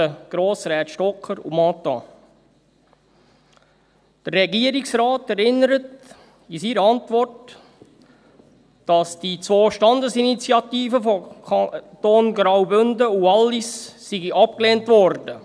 Der Regierungsrat erinnert in seiner Antwort, dass die zwei Standesinitiativen der Kantone Graubünden und Wallis abgelehnt wurden.